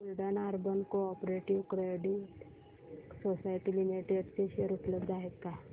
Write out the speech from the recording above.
Buldhana urban cooperative credit society limited चे share उपलब्ध आहेत का